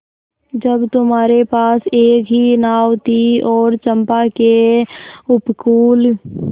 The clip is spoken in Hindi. जब तुम्हारे पास एक ही नाव थी और चंपा के उपकूल